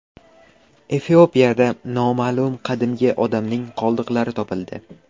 Efiopiyada noma’lum qadimgi odamning qoldiqlari topildi.